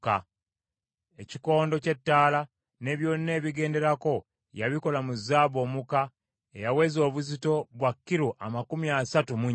Ekikondo ky’ettaala ne byonna ebigenderako yabikola mu zaabu omuka eyaweza obuzito bwa kilo amakumi asatu mu nnya.